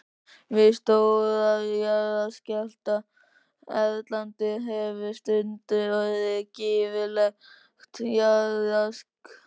Við stóra jarðskjálfta erlendis hefur stundum orðið gífurlegt jarðrask.